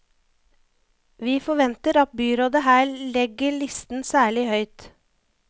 Vi forventer at byrådet her legger listen særlig høyt.